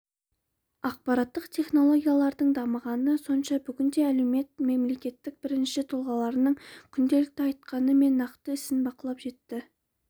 ақпараттық технологиялардың дамығаны сонша бүгінде әлеумет мемлекеттің бірінші тұлғаларының күнделікті айтқаны мен нақты ісін бақылап жіті